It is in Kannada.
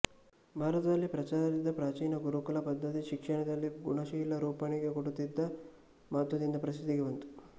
ಭಾರತದಲ್ಲಿ ಪ್ರಚಾರದಲ್ಲಿದ್ದ ಪ್ರಾಚೀನ ಗುರುಕುಲ ಪದ್ಧತಿ ಶಿಕ್ಷಣದಲ್ಲಿ ಗುಣಶೀಲ ರೂಪಣೆಗೆ ಕೊಡುತ್ತಿದ್ದ ಮಹತ್ವದಿಂದ ಪ್ರಸಿದ್ಧಿಗೆ ಬಂತು